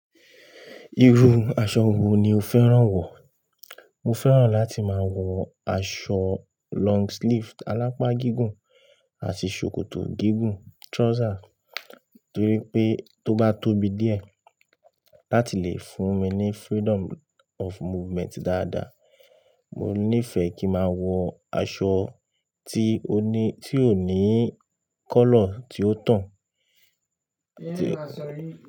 Irú aṣọ wo ni o fẹ́ràn wọ̀? Mo fẹ́ràn láti máa wọ aṣọ long sleeve alápá gígùn àti ṣòkòtò gígùn trouser, torí pé tó bá tóbi díẹ̀ láti lè fún mi ní freedom of movement dáadáa. Mo nífẹ̀ẹ́ kí máa wọ aṣọ tí ó ní, tí ò ní kọ́lọ̀ tí ó tàn tí.